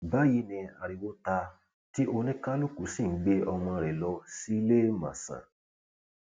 báyìí ni ariwo ta tí oníkálukú sì ń gbé ọmọ rẹ lọ síléemọsán